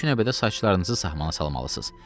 İlk növbədə saçlarınızı sahmana salmalısınız.